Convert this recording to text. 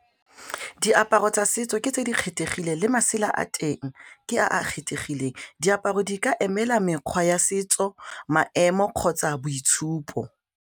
Diaparo tsa setso ke tse di kgethegileng le masela a teng ke a a kgethegileng diaparo di ka emela mekgwa ya setso, maemo kgotsa boitshupo.